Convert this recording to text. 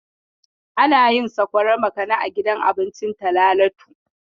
Ana yin sakwarar makani a gidan cin abinci Talalatu.